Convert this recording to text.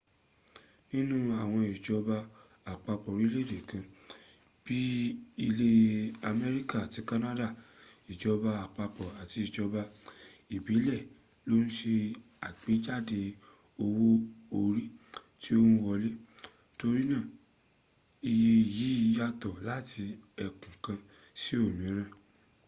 nínú àwọn ìjọba àpapọ̀ orílèèdè kan bí i ilẹ̀ america àti canada ìjọba àpapọ̀ àti ìjọba ìbílẹ̀ ló ń se àgbéjáde owó orí tó ń wọlé torínà iye yìí yàtọ̀ láti ẹkùn kan sí òmíràn